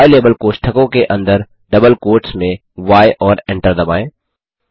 ylabel कोष्ठकों के अंदर डबल कोट्स में य और एंटर दबाएँ